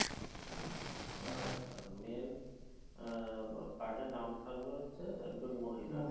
আচ্ছা main আহ card এ নাম থাকবে হচ্ছে একজন মহিলার।